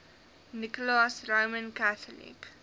nicholas roman catholic